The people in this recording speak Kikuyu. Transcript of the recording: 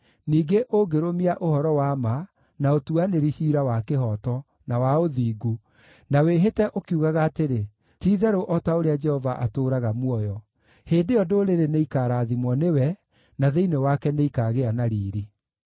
ningĩ ũngĩrũmia ũhoro wa ma, na ũtuanĩri ciira wa kĩhooto, na wa ũthingu, na wĩhĩte ũkiugaga atĩrĩ, ‘Ti-itherũ o ta ũrĩa Jehova atũũraga muoyo,’ hĩndĩ ĩyo ndũrĩrĩ nĩikarathimwo nĩwe, na thĩinĩ wake nĩikaagĩa na riiri.”